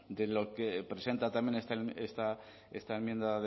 de lo que presenta también esta enmienda